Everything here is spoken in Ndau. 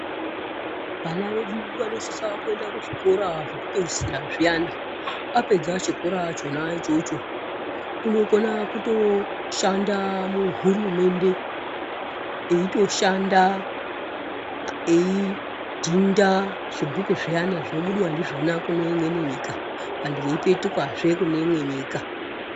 Vana vedu vanosisa kuenda kuzvikora zvekupeisira zviyana. Vapedza chikora chona ichocho, unokona kutoshanda muhurumende, eitoshanda eidhinda zvibhuku zviyana, zvinobudwa ndizvona kune imweni nyika vanhu vekupetukazve kune imwe nyika.